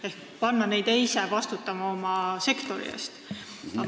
Sooviti panna nad ise vastutama oma sektori eest.